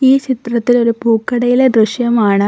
ഈ ചിത്രത്തിൽ ഒരു പൂക്കടയിലെ ദൃശ്യമാണ്.